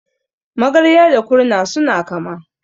Magarya da Kurna suna kama.